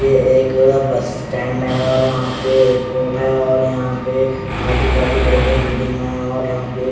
ये एक bus stand हैं और वहा पे एयरपोर्ट हें और यहाँ पे आजू बाजू बड़े बड़े बिल्डिंग हैं।